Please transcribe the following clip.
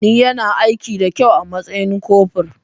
Ni yana aiki da kyau a matsayin kofur